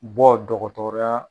Bɔ dɔgɔtɔrɔya.